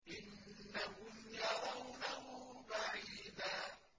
إِنَّهُمْ يَرَوْنَهُ بَعِيدًا